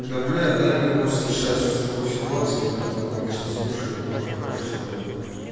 да бля дамир просто сейчас же в такой ситуации так-то он обычно слушает он же хороший человек